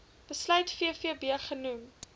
besluit vvb genoem